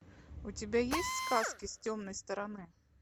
у тебя есть сказки с темной стороны